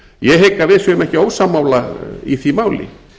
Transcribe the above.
ég hygg að við séum ekki ósammála í því máli